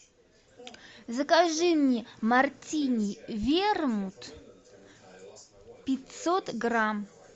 закажи мне мартини вермут пятьсот грамм